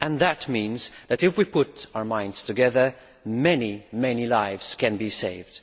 That means that if we put our heads together, many lives can be saved.